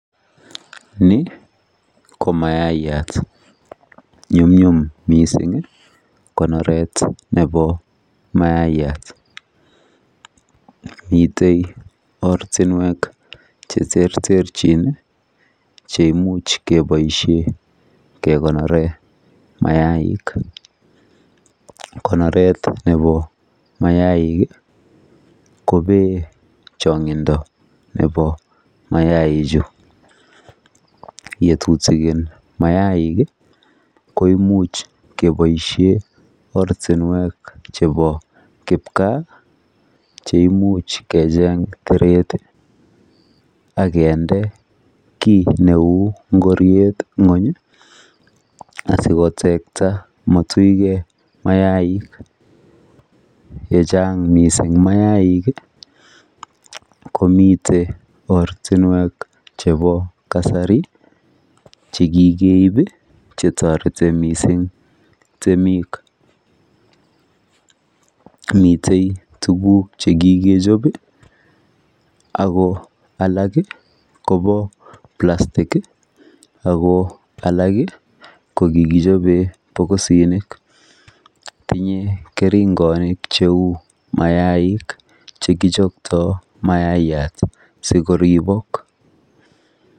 Ni ko mayaiyat. Nyumnyum mising konoret nebo mayaiyat. Mitei ortinwek cheterterchin cheimuch keboiisie kekonore mayaik. Konoret nebo mayaik kobee chong'indo nebo mayaichu. Yetutikin mayaik koimuch keboisie ortinwek chebo kipgaa cheimuch kecheng teret akende kiy neu ngoriet ng'ony asikoterta matuikei mayaik. Yechang mising mayaik komite ortinwek chebo kasari chekikeib chetoreti temik. mitei tuguk chekikechop ako alak kobo plastic ako alk kikichobe bokisinik. Tinyei keringonik heu mayaik chekichokto mayaiyat sikoribok.